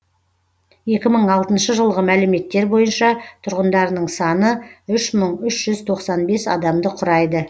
екі мың алтыншы жылғы мәліметтер бойынша тұрғындарының саны үш мың үш жүз тоқсан бес адамды құрайды